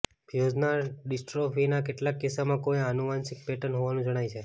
ફ્યુઝના ડિસ્ટ્રોફીના કેટલાક કિસ્સામાં કોઈ આનુવંશિક પેટર્ન હોવાનું જણાય છે